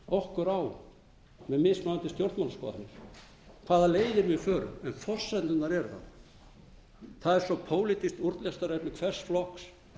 okkur á með mismunandi stjórnmálaskoðanir hvaða leiðir við förum en forsendur eru þarna það er svo pólitískt úrlausnarefni hvers flokks